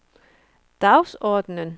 dagsordenen